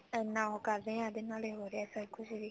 ਇੰਨਾ ਉਹ ਰਹੇ ਹਾਂ ਉਹਦੇ ਨਾਲ ਹੋ ਰਿਹਾ ਸਭ ਕੁੱਝ